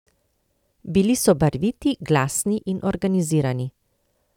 Bili so barviti, glasni in organizirani.